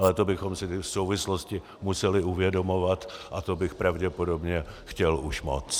Ale to bychom si ty souvislosti museli uvědomovat a to bych pravděpodobně chtěl už moc.